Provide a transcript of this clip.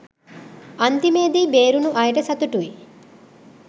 අන්තිමේදී බේරුනු අයට සතුටුයි